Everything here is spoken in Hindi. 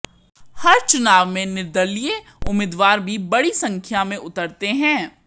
हर चुनाव में निर्दलीय उम्मीदवार भी बड़ी संख्या में उतरते हैं